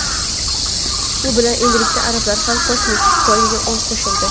Bu bilan endilikda arablar ham kosmik poygaga qo‘shildi.